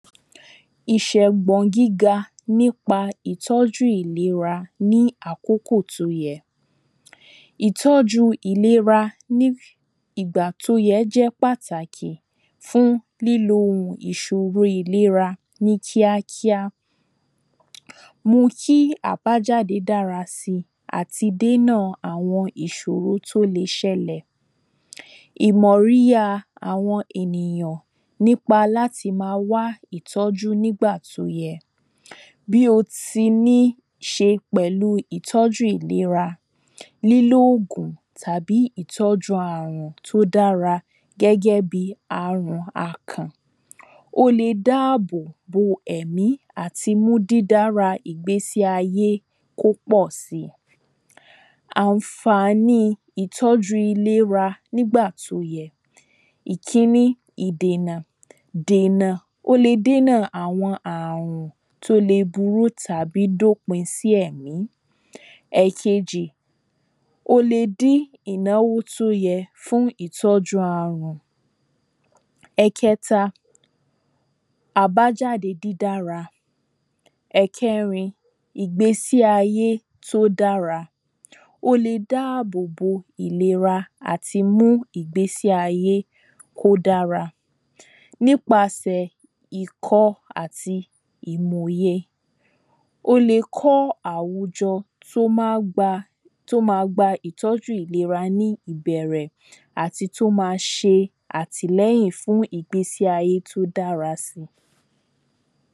Ìṣẹ̀gbọ̀n gíga nípa ìtọ́jú ìlera ní àkókò tí ó yẹ Ìtọ́jú ìlera ní ìgbà tí ó yẹ jé pàtàkì fún lílo ìṣòro ìlera ní kíákíá Mú kí àbájáde dára si àti dèna àwọn ìṣòro tí ó lè ṣẹlẹ̀ Ìmọ̀ríya àwọn ènìyàn nípa láti máa wá ìtọ́jú nígbà tí ó yẹ Bí ó ti níí ṣe pẹ̀lú ìlera lílo òògùn tàbí ìtọ́jú ààrùn tí ó dára gẹ́gẹ́ bíi ààrùn akàn Ó lè dá àbò bo ẹ̀mí àti mú dídara ìgbésí ayé kí ó pọ̀ si Àǹfàní ìtọ́jú ìlera nígbà tí ó yẹ Ìkíní ìdènà dena ó lè dènà àwọn ààrùn tí ó lè burú tàbí dópin sí ẹ̀mí Ẹ̀ẹ̀kejì ó lè dí ìnáwó tí ó yẹ fún ìtọ́jú ààrùn Ẹ̀ẹ̀kẹta àbájáde dídára Ẹ̀ẹ̀kẹrin ìgbésí ayé tí ó dára o lè dá àbò bo ìlera àti mú ìgbésí ayé kí ó dára nípasẹ̀ ìkọ́ àti ìmọ̀ye ó lè kọ́ àwùjọ tí ó ma gba ìtọ́jú ìlera ní ìbẹ̀rẹ̀ àti tí ó máa ṣe àtìlẹ́yìn fún ìgbésí aye tí ó dára si